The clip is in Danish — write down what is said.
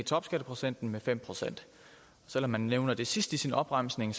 topskatteprocenten med fem procent selv om man nævner det sidst i sin opremsning